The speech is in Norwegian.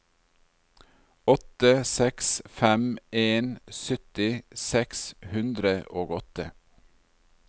åtte seks fem en sytti seks hundre og åtte